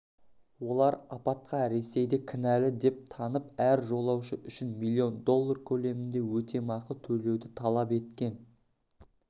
олар апатқа ресейді кінәлі деп танып әр жолаушы үшін млн доллар көлемінде өтемақы төлеуді талап еткен